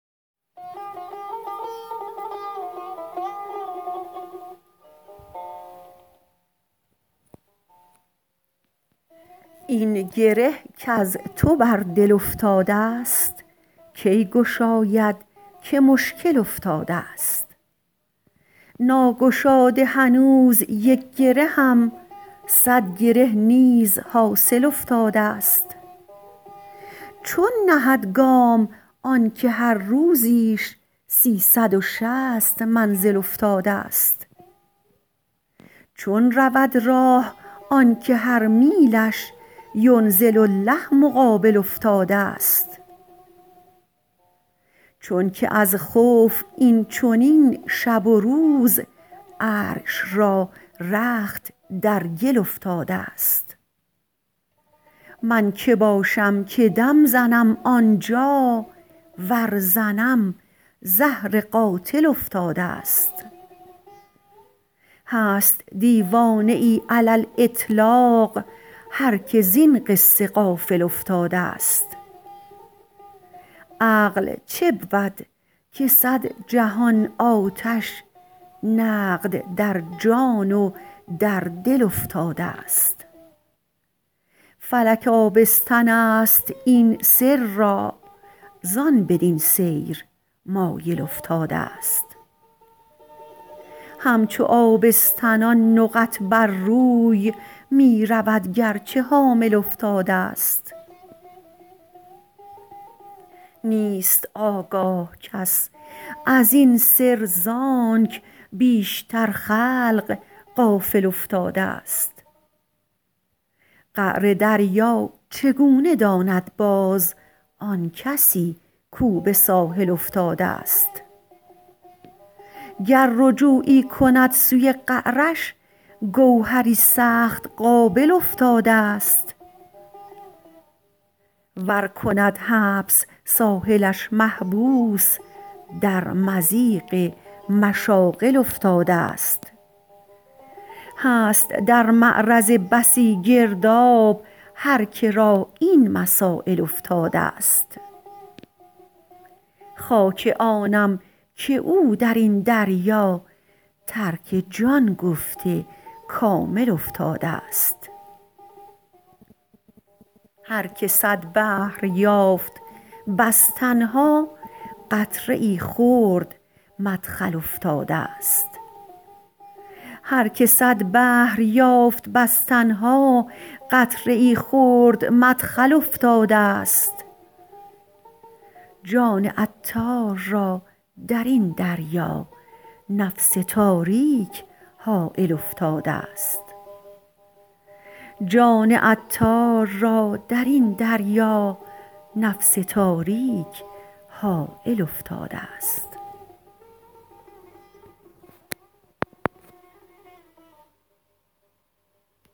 این گره کز تو بر دل افتادست کی گشاید که مشکل افتادست ناگشاده هنوز یک گرهم صد گره نیز حاصل افتادست چون نهد گام آنکه هر روزیش سیصد و شصت منزل افتادست چون رود راه آنکه هر میلش ینزل الله مقابل افتادست چونکه از خوف این چنین شب و روز عرش را رخت در گل افتادست من که باشم که دم زنم آنجا ور زنم زهر قاتل افتادست هست دیوانه ای علی الاطلاق هر که زین قصه غافل افتادست عقل چبود که صد جهان آتش نقد در جان و در دل افتادست فلک آبستن است این سر را زان بدین سیر مایل افتادست همچو آبستنان نقط بر روی می رود گرچه حامل افتادست نیست آگاه کس ازین سر زانک بیشتر خلق غافل افتادست قعر دریا چگونه داند باز آن کسی کو به ساحل افتادست گر رجوعی کند سوی قعرش گوهری سخت قابل افتادست ور کند حبس ساحلش محبوس در مضیق مشاغل افتادست هست در معرض بسی گرداب هر که را این مسایل افتادست خاک آنم که او درین دریا ترک جان گفته کامل افتادست هر که صد بحر یافت بس تنها قطره ای خرد مدخل افتادست جان عطار را درین دریا نفس تاریک حایل افتادست